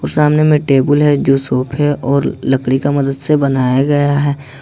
सामने मे टेबुल है जो सोफे और लकड़ी का मदत से बनाया गया है।